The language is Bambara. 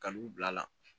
Ka n'u bila la